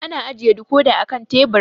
Ana ajiye dikodi a kan tebur